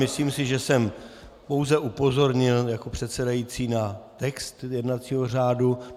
Myslím si, že jsem pouze upozornil jako předsedající na text jednacího řádu.